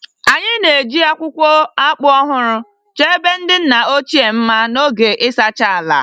Anyị na-eji akwụkwọ akpu ọhụrụ chọọ ebe ndị nna ochie mma n'oge ịsacha ala.